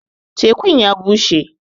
Tēku'n ya bushe.